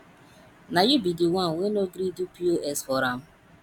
na you be the one wey no gree do pos for am